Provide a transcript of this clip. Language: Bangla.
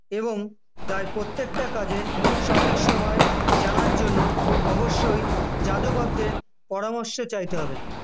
এবং প্রায় প্রত্যেকটা কাজের সঠিক সময় জানার জন্য অবশ্যই জাদুকরদের পরামর্শ চাইতে হবে